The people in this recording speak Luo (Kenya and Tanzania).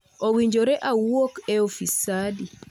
Owinjore awuok e ofis saa adi?